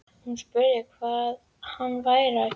Hún spurði hvað hann væri að gera.